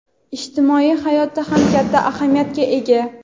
ijtimoiy hayotda ham katta ahamiyatga ega.